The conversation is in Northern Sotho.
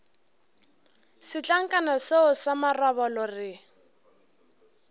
setlankana seo sa marobalo re